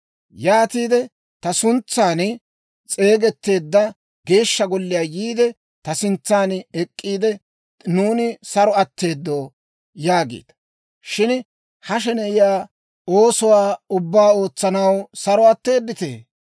Yaatiide ta suntsan s'eegetteedda Geeshsha Golliyaa yiide, ta sintsan ek'k'iide, ‹Nuuni saro atteedo!› yaagiita. Shin ha sheneyiyaa oosuwaa ubbaa ootsanaw saro atteeditee?